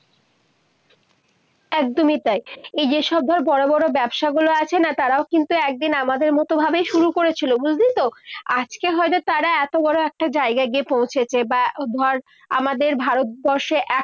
একদমই তাই। এই যে সব ধর, বড় বড় ব্যবসাগুলো আছে না। তারাও কিন্তু একদিন আমাদের মতো ভাবেই শুরু করেছিল। বুঝলি তো, আজকে হয়তো তারা এতো বড় একটা জায়গায় গিয়ে পৌঁছেছে বা ধর আমাদের ভারতবর্ষে